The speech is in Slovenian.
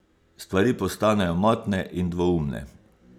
Stvari postanejo motne in dvoumne.